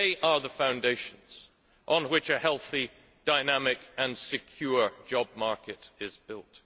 They are the foundations on which a healthy, dynamic and secure job market is built.